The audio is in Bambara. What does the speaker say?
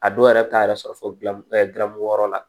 A dɔw yɛrɛ bɛ taa yɛrɛ sɔrɔ fo dramugu yɔrɔ la